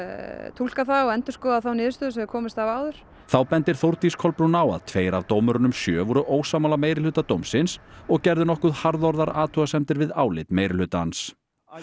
túlka það og endurskoða þá niðurstöðu sem þeir komust að áður þá bendir Þórdís Kolbrún á að tveir af dómurunum sjö voru ósammála meirihluta dómsins og gerðu nokkuð harðorðar athugasemdir við álit meirihlutans